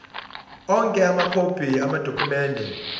onke amakhophi amadokhumende